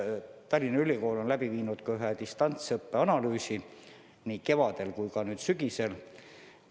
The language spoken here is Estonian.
Tallinna Ülikool on läbi viinud ka ühe distantsõppe analüüsi nii kevadel kui ka nüüd sügisel.